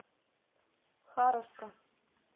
харовска